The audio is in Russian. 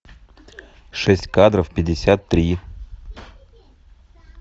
шесть кадров пятьдесят три